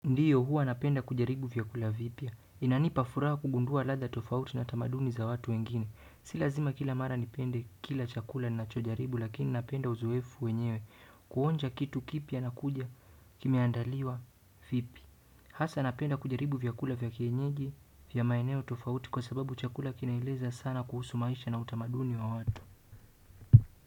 Ndiyo hua napenda kujaribu vyakula vipya. Inanipa furaha kugundua ladha tofauti na tamaduni za watu wengine. Si lazima kila mara nipende kila chakula nachojaribu, lakini napenda uzoefu wenyewe. Kuonja kitu kipya na kuja kimiandaliwa vipi. Hasa napenda kujaribu vyakula vya kienyeji vya maeneo tofauti kwa sababu chakula kinaeleza sana kuhusu maisha na utamaduni wa watu.